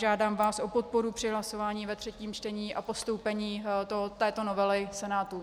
Žádám vás o podporu při hlasování ve třetím čtení a postoupení této novely Senátu.